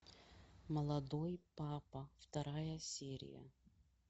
молодой папа вторая серия